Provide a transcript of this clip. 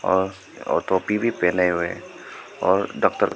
और और टोपी भी पहने हुए और डॉक्टर--